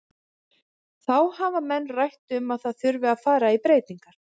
Þá hafa menn rætt um að það þurfi að fara í breytingar.